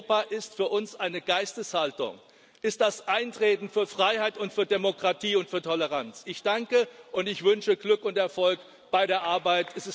Europa ist für uns eine Geisteshaltung, ist das Eintreten für Freiheit und für Demokratie und für Toleranz. Ich danke, und ich wünsche Glück und Erfolg bei der Arbeit.